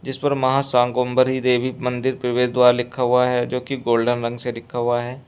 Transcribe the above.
इस पर मां शाकंभरी देवी मंदिर प्रवेश द्वार लिखा हुआ है जोकि गोल्डन रंग से लिखा हुआ है।